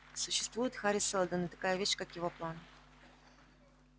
существует хари сэлдон и такая вещь как его план